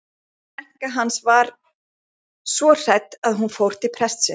Bílstjórinn og Axel stumruðu yfir Unni.